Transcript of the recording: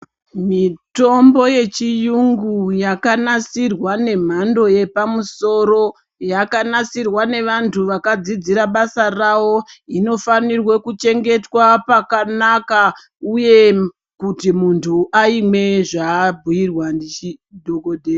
Mitombo yechiyungu yakanasirwa nemhando yepamusoro yakanasirwa ngevantu vakadzidziswe basa ravo inofanirwe kuchengetwa pakanaka uye kuti muntu aimwe zvaabhirirwa ndidhokodheya.